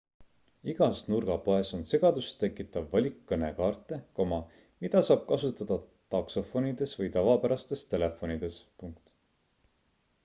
igas nurgapoes on segadust tekitav valik kõnekaarte mida saab kasutada taksofonides või tavapärastes telefonides